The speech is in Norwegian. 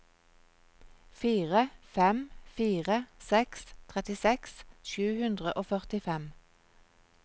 fire fem fire seks trettiseks sju hundre og førtifem